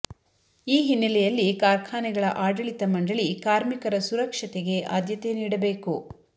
ಈ ಹಿನ್ನೆಲೆಯಲ್ಲಿ ಕಾರ್ಖಾನೆಗಳ ಆಡಳಿತ ಮಂಡಳಿ ಕಾರ್ಮಿಕರ ಸುರಕ್ಷತೆಗೆ ಆದ್ಯತೆ ನೀಡಬೇಕು